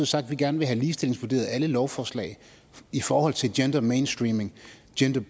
sagt at vi gerne vil have ligestillingsvurderet alle lovforslag i forhold til gender mainstreaming